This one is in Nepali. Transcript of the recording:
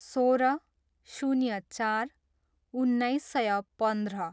सोह्र, शून्य चार, उन्नाइस सय पन्ध्र